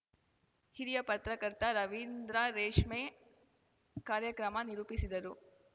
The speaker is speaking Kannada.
ಹಿರಿಯ ಪತ್ರಕರ್ತ ರವೀಂದ್ರ ರೇಷ್ಮೆ ಕಾರ್ಯಕ್ರಮ ನಿರೂಪಿಸಿದರು